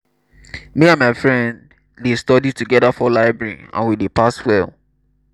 me and my friend dey study together for library and we dey pass well